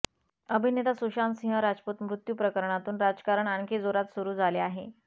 अभिनेता सुशांत सिंह राजपूत मृत्यूप्रकरणावरुन राजकारण आणखी जोरात सुरु झाले आहे